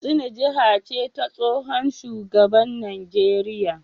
Katsina jiha ce ta tsohon shugaban Najeriya